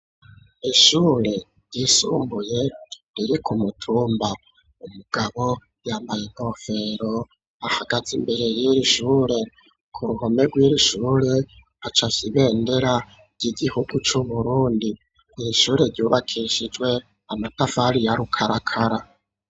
Ishure ryisumbuye riri ku mutumba ,umugabo yambaye inkofero ahagaze imbere y'ir'ishure ku ruhome rwiri'ishure hacafye ibendera ry'igihugu c'uburundi, ishure ryubakishijwe amatafari ya rukarakara.